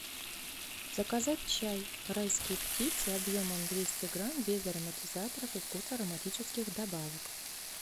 заказать чай райские птицы объемом двести грамм без ароматизаторов и вкусов ароматических добавок